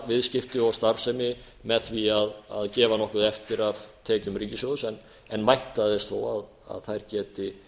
viðskipti og starfsemi með því að gefa nokkuð eftir af tekjum ríkissjóðs en vænta þess þó að þær geti